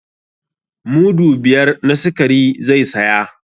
Mudu biyar na sikari zai saya.